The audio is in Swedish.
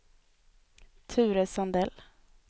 Ture Sandell